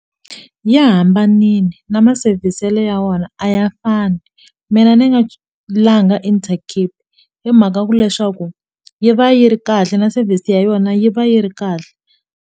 Ya hambanile na ma sevhiselo ya vona a ya fani mina ni nga langa intercape hi mhaka ku leswaku yi va yi ri kahle na service ya yona yi va yi ri kahle.